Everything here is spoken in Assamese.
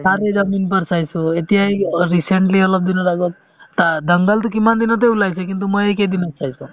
taare zameen par চাইছো এতিয়া এই অ recently অলপ দিনৰ আগত তা dangal তো কিমান দিনতে ওলাইছে কিন্তু মই এই কেইদিনত চাইছো